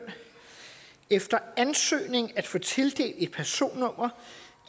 efter ansøgning at få tildelt et personnummer